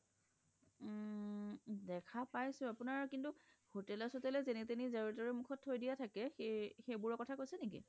দেখা পাইছোঁ কিন্তু আপোনাৰ কিন্তু হোটেলে সতেলে যেনী তেনি জৰে টোৰে মুখত থই দিয়া থাকে সেইবোৰৰ কথা কৈছে নেকি ?